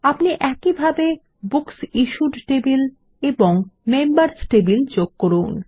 আপনি একইভাবে বুকসিশ্যুড টেবিল এবং মেম্বার্স টেবিল যোগ করুন